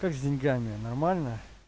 как с деньгами нормально